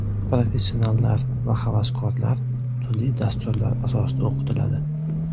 Professionallar va havaskorlar turli dasturlar asosida o‘qitiladi.